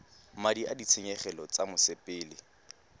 madi a ditshenyegelo tsa mosepele